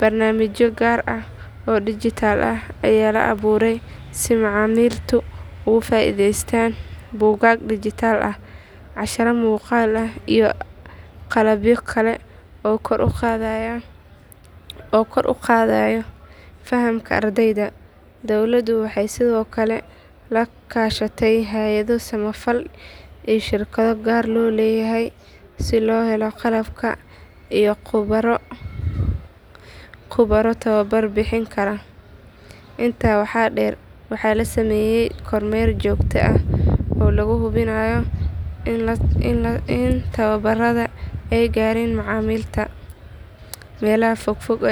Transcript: Barnaamijyo gaar ah oo dhijitaal ah ayaa la abuuray si macalimiintu uga faa’iidaystaan buugaag dhijitaal ah, casharro muuqaal ah iyo qalabyo kale oo kor u qaadaya fahamka ardayda. Dawladdu waxay sidoo kale la kaashatay hay’ado samafal iyo shirkado gaar loo leeyahay si loo helo qalabka iyo khubaro tababar bixin kara. Intaa waxaa dheer waxaa la sameeyay kormeer joogto ah oo lagu hubinayo in tababbarrada ay gaareen macalimiinta meelaha fog fog.